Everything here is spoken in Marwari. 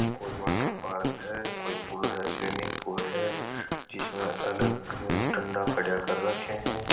कोई वाटर पार्क है कोई पूल है स्विमिंग पूल है जिसमे अलग ठंडा खड्या कर राख्या है।